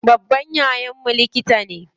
Babban yayan mu likita ne.